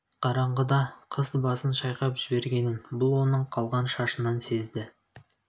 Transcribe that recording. қараңғыда қыз басын шайқап жібергенін бұл оның қалған шашынан сезді